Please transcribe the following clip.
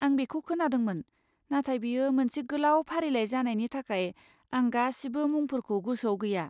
आं बेखौ खोनादोंमोन, नाथाय बेयो मोनसे गोलाव फारिलाइ जानायनि थाखाय, आं गासिबो मुंफोरखौ गोसोआव गैया।